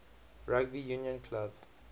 rugby union club